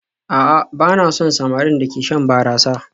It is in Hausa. A'a ba na son samarin da ke shan barasa